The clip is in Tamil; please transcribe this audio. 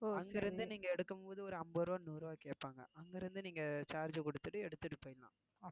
அங்கிருந்து நீங்க எடுக்கும்போது ஒரு ஐம்பது ரூபாய் நூறு ரூபாய் கேட்பாங்க அங்கிருந்து நீங்க charge கொடுத்துட்டு எடுத்துட்டு போயிடலாம்